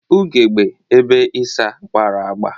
Ugegbe ebe ịsa gbara agba.